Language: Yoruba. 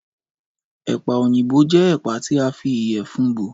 Ẹ̀pà òyìnbó jẹ́ ẹ̀pà tí a fi ìyẹ̀fun bò